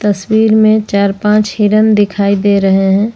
तस्वीर में चार पांच हिरन दिखाई दे रहे हैं।